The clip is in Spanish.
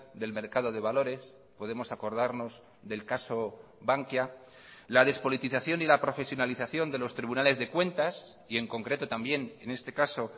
del mercado de valores podemos acordarnos del caso bankia la despolitización y la profesionalización de los tribunales de cuentas y en concreto también en este caso